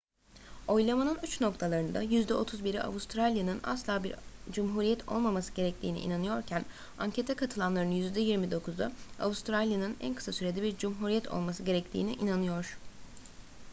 oylamanın uç noktalarında yüzde 31'i avustralya'nın asla bir cumhuriyet olmaması gerektiğine inanıyorken ankete katılanların yüzde 29'u avustralya'nın en kısa sürede bir cumhuriyet olması gerektiğine inanıyor